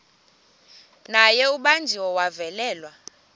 naye ubanjiwe wavalelwa